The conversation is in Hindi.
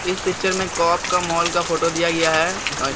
इस पिक्चर में काप का मॉल का फोटो दिया है आ--